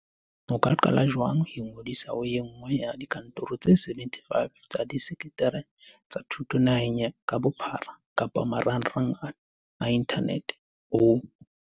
O ka qala jwang Ingodisa ho e nngwe ya dikantoro tse 75 tsa disetereke tsa thuto naheng ka bophara kapa marangrang a inthanete ho